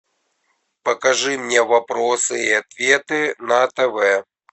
покажи мне вопросы и ответы на тв